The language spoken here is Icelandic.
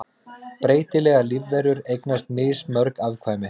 Breytilegar lífverur eignast mismörg afkvæmi.